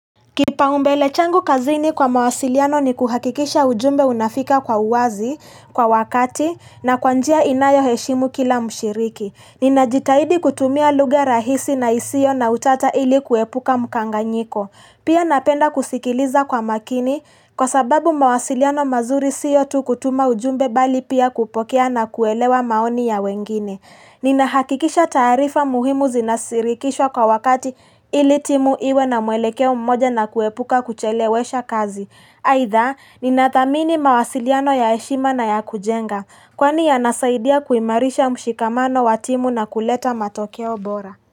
Kipaumbele changu kazini kwa mawasiliano ni kuhakikisha ujumbe unafika kwa uwazi, kwa wakati, na kwa njia inayoheshimu kila mshiriki. Ninajitahidi kutumia lugha rahisi na isiyo na utata ili kuepuka mkanganyiko. Pia napenda kusikiliza kwa makini kwa sababu mawasiliano mazuri siyotu kutuma ujumbe bali pia kupokea na kuelewa maoni ya wengine. Nina hakikisha taarifa muhimu zinasirikishwa kwa wakati ili timu iwe na muelekeo mmoja na kuepuka kuchelewesha kazi aidha, ninathamini mawasiliano ya heshima na ya kujenga Kwani yanasaidia kuimarisha mshikamano wa timu na kuleta matokeo bora.